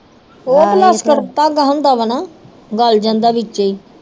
ਉਹ ਪਲਾਸਟਿਕ ਦਾ ਧਾਗਾ ਹੁੰਦਾ ਵ ਨਾ ਗਲ ਜਾਂਦਾ ਵਿਚੇ ਈ।